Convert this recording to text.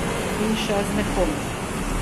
In še z nekom.